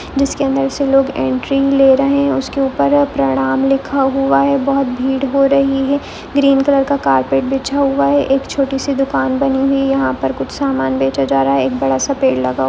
जिसके अंदर ऐसे लोग एंटरिंग ले रही है उसके ऊपर प्रणाम लिखा हुआ है बहुत भीड हो रही है ग्रीन कलर का कारपेट बिछा हुआ है एक छोटी सी दुकान बनी हुई है यहाँ पर सामान बेचा जा रहा है एक बड़ा सा पेड़ लगा--